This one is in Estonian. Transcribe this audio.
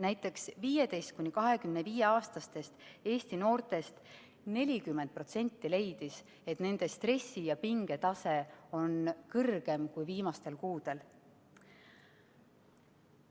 Näiteks, 15–25-aastastest Eesti noortest 40% leidis, et nende stressi- ja pingetase on kõrgem kui viimastel kuudel.